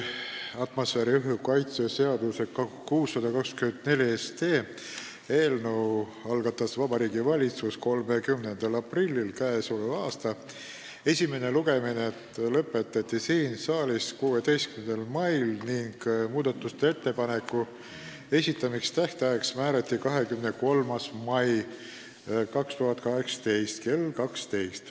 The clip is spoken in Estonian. Atmosfääriõhu kaitse seaduse muutmise seaduse eelnõu 624 algatas Vabariigi Valitsus 30. aprillil k.a. Esimene lugemine lõpetati siin saalis 16. mail ning muudatusettepanekute esitamise tähtajaks määrati 23. mai 2018 kell 12.